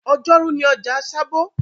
Ọjọ́rú ni ọjà sábó